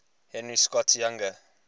henry scott's younger